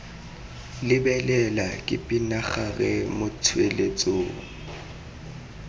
lebelela ke pinagare mo tsweletsong